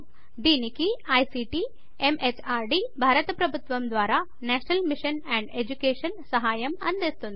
దీనికి ICT MHRD భారత ప్రభుత్వము ద్వారా నేషనల్ మిషన్ అండ్ ఎడ్యుకేషన్ సహాయం అందిస్తోంది